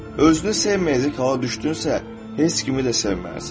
Özünü sevməyəcək hala düşdünsə, heç kimi də sevməzsən.